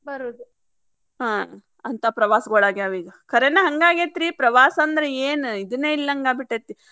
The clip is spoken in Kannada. ಬರುದು ಹಾ ಅಂತಾ ಪ್ರವಾಸಗೊಳ ಆಗ್ಯಾವೀಗ ಕರೇನ ಹಂಗ ಆಗೇತ್ರಿ ಪ್ರವಾಸಂದ್ರ ಏನ್ ಇದನ ಇಲ್ಲದಂಗ ಆಗಿಬಿಟ್ಟೆತಿ.